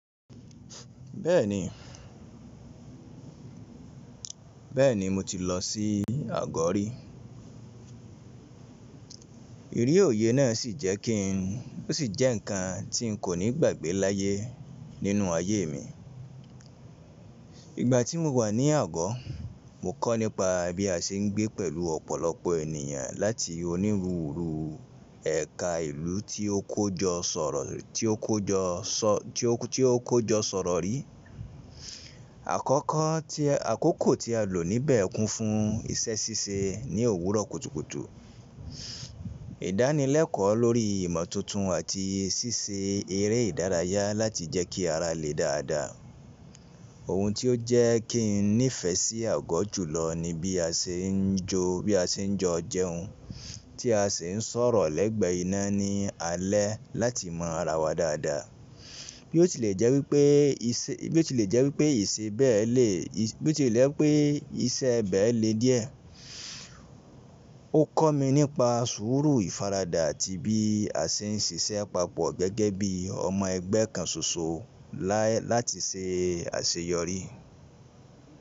Bẹ́ẹ̀ni, bẹ́ẹ̀ni mo ti lọ sí Agori. Ìrí òye ná sì jẹ́ kí n ó sì jẹ ǹkan tí n kò ní gbàgbé láyé nínú ayé mi. Ìgbà tí mo wà ní ago, mo kọ́ nípa bí a ṣe ń gbé pẹ̀lú ọ̀pọ̀lọpọ̀ ènìyàn láti onírúurú ẹ̀ka ìlú tí ó kójọ sọ̀rọ̀, tí ó kójọ sọ, tí ó, tí ó kójọ sọ̀rọ̀ rí. Àkọ́kọ́ tí, àkókò tí a lò níbẹ̀ kún fún iṣẹ́ ṣíṣe ní òwúrọ̀ kùtùkùtù. Ìdánilẹ́kọ lórí ìmọ̀ tuntun àti ṣíṣe eré ìdárayá láti jẹ́ kí ara le dáda. Ohun tí ó jẹ́ kí n nífẹ̀ sí ago jùlọ ni bí a ṣe ń jó, bí a ṣe ń jọ jẹun, tí a ṣe ń sọ̀rọ̀ lẹ́gbẹ̀ iná ní alẹ́ láti mọ ara wa dáda. Bí ó ti lẹ̀ jẹ́ wípé iṣẹ́, bí ó ti lẹ̀ jẹ́ wípé iṣẹ́ bẹ́ẹ̀ le, bí ó ti lẹ̀ pé iṣẹ́ bẹ́ẹ̀ le díẹ̀. Ó kọ́ mi nípa sùúrù ìfaradà àti bí a ṣe ń ṣiṣẹ́ papọ̀ gẹ́gẹ́ bí ọmọ ẹgbẹ́ kan ṣoṣo la, láti ṣe àṣeyọrí.